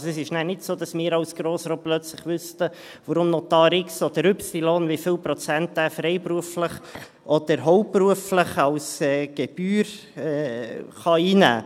Also, es ist nachher nicht so, dass wir vom Grossen Rat plötzlich wüssten, wie viel Gebühren Notar X oder Y freiberuflich oder hauptberuflich einnehmen kann.